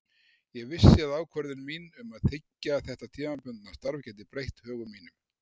Ég vissi að ákvörðun mín um að þiggja þetta tímabundna starf gæti breytt högum mínum.